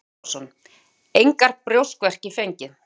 Bjarni Torfason: Engar brjóstverki fengið?